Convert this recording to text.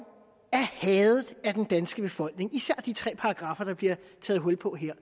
hadet af den danske befolkning især de tre paragraffer der bliver taget hul på her